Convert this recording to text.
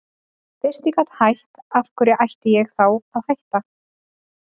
Fyrst ég gat hætt, af hverju átti ég þá að hætta?